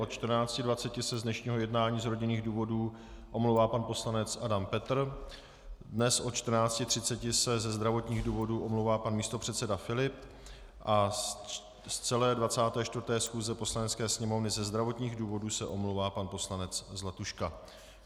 Od 14.20 se z dnešního jednání z rodinných důvodů omlouvá pan poslanec Adam Petr, dnes od 14.30 se ze zdravotních důvodů omlouvá pan místopředseda Filip a z celé 24. schůze Poslanecké sněmovny ze zdravotních důvodů se omlouvá pan poslanec Zlatuška.